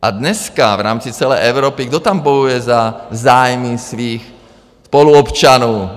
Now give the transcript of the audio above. A dneska v rámci celé Evropy, kdo tam bojuje za zájmy svých spoluobčanů?